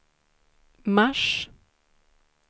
mars